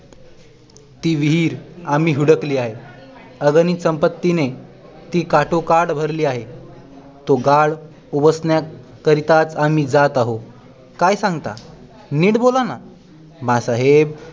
ती विहीर आम्ही हुडकली आहे अगणित संपत्तीने ती काठोकाठ भरली आहे तो गाळ उपासण्या करिताच आम्ही जात आहोत काय सांगता नीट बोला ना माँ साहेब